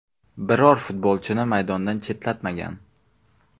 Biror futbolchini maydondan chetlatmagan.